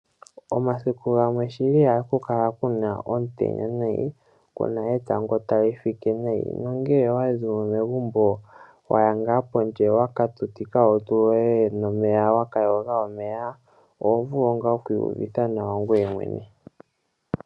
Omasiku gamwe shili oha ku kala kuna omutenya nayi, kuna etango ta li fike nayi, no ngele owazimo megumbo, waya ngaa pondje wa ka tutika olutu nenge wa ka yoga omeya, oho vulu ngaa oku iyuvitha nawa ngwee mwene.